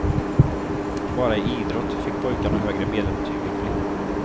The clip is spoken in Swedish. Bara i idrott fick pojkarna högre medelbetyg än flickorna.